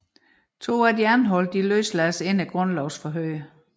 To af de anholdte løslades inden grundlovsforhøret